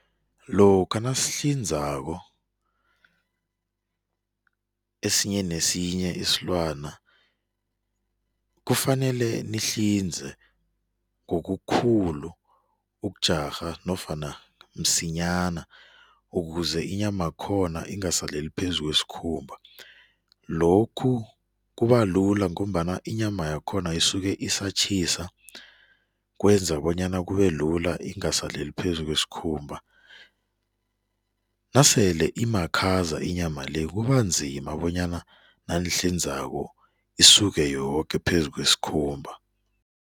Lokha nasihlinzako, esinye nesinye isilwana kufanele nihlinze ngobukhulu ukujarha nofana msinyana ukuze inyamakhona ingasaleli phezukwesikhumba, lokhu kubalula ngombana inyama yakhona isuke isatjhisa, kwenza bonyana kubelula ingasaleli phezukwesikhumba, nasele imakhaza inyama-le kubanzima bonyana nanihlinzako isuke yoke phezukwesikhumba.